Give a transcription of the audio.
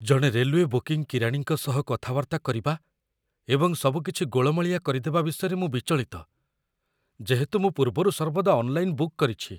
ଜଣେ railway booking କିରାଣୀଙ୍କ ସହ କଥାବାର୍ତ୍ତା କରିବା ଏବଂ ସବୁକିଛି ଗୋଳମାଳିଆ କରିଦେବା ବିଷୟରେ ମୁଁ ବିଚଳିତ, ଯେହେତୁ ମୁଁ ପୂର୍ବରୁ ସର୍ବଦା ଅନ୍‌ଲାଇନ୍‌‌ ବୁକ୍ କରିଛି